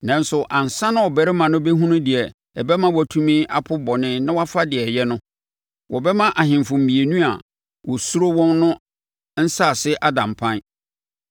Nanso, ansa na abarimaa no bɛhunu deɛ ɛbɛma watumi apo bɔne na wafa deɛ ɛyɛ no, wɔbɛma ahemfo mmienu a wosuro wɔn no nsase ada mpan.